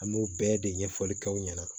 An b'o bɛɛ de ɲɛfɔli k'aw ɲɛna